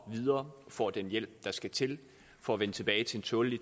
videre og får den hjælp der skal til for at vende tilbage til en tålelig